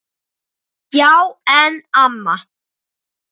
Já en amma.